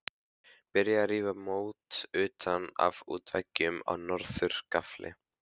Byrjað að rífa mót utan af útveggjum á norður gafli.